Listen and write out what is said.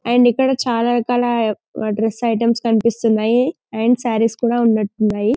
And ఇక్కడ చాలా రకాల డ్రెస్ ఐటమ్స్ కనిపిస్తున్నాయి అండ్ సారీస్ కూడా ఉన్నట్టున్నాయి.